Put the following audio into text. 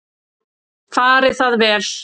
Fari það vel.